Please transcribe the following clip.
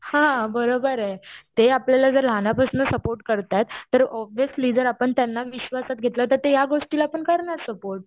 हा बरोबर आहे. ते आपल्याला जर लहानापासन सपोर्ट करताय तर ऑबव्हिसली जर आपण त्यांना विश्वासात घेतलं तर ते या गोष्टीला पण करणार सपोर्ट.